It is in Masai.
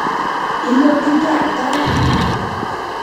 iloto taata?